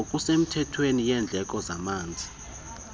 ngokusemthethweni yendleko zamanzi